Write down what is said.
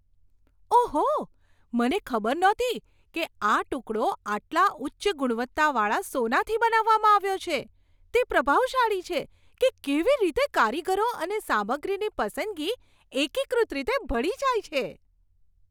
ઓહો, મને ખબર નહોતી કે આ ટુકડો આટલા ઉચ્ચ ગુણવત્તાવાળા સોનાથી બનાવવામાં આવ્યો છે. તે પ્રભાવશાળી છે કે કેવી રીતે કારીગરી અને સામગ્રીની પસંદગી એકીકૃત રીતે ભળી જાય છે.